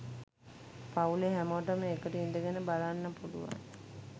පවුලෙ හැමෝටම එකට ඉඳගෙන බලන්න පුලුවන්